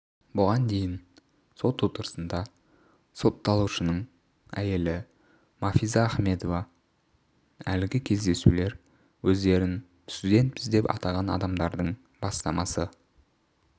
бұған дейін сот отырысында сотталушының әйелі мафиза ахмедова әлгі кездесулер өздерін студентпіз деп атаған адамдардың бастамасы